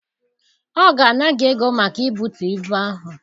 Ọ ga-ana gị ego maka ibutu ibu ahụ.